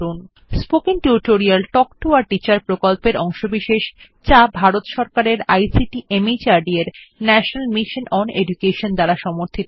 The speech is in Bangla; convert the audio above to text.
spoken tutorial talk to a teacher প্রকল্পের অংশবিশেষ যা ভারত সরকারের আইসিটি মাহর্দ এর ন্যাশনাল মিশন ওন এডুকেশন দ্বারা সমর্থিত